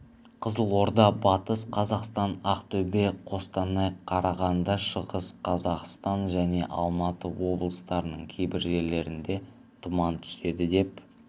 қызылорда батыс қазақстан ақтөбе қостанай қарағанды шығыс қазақстан және алматы облыстарының кейбір жерлерінде тұман түседі деп